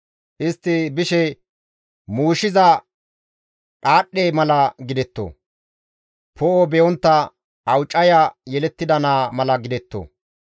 Istti bishe muushiza dhaadhdhe mala gidetto; poo7o be7ontta awucaya yelettida naa mala gidetto.